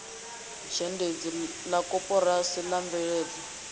zhendedzi la koporasi la mveledzo